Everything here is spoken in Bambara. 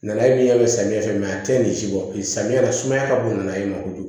Nana ye samiya fɛ a te nin si bɔ samiya na sumaya ka bon n'a ye ma kojugu